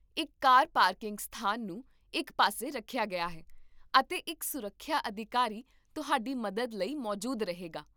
ਇੱਕ car parking ਸਥਾਨ ਨੂੰ ਇੱਕ ਪਾਸੇ ਰੱਖਿਆ ਗਿਆ ਹੈ, ਅਤੇ ਇੱਕ ਸੁਰੱਖਿਆ ਅਧਿਕਾਰੀ ਤੁਹਾਡੀ ਮਦਦ ਲਈ ਮੌਜੂਦ ਰਹੇਗਾ